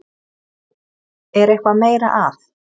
Er eitthvað meira að?